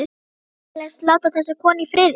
Vilt þú vinsamlegast láta þessa konu í friði!